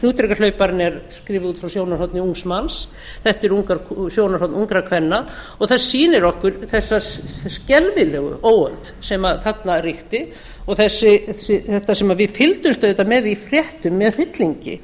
flugdrekahlauparinn er skrifuð út frá sjónarhorni ungs manns þetta er sjónarhorn ungra kvenna og það sýnir okkur þessa skelfilegu óöld sem þarna ríkti og þetta sem við fylgdumst auðvitað með í ættum með hryllingi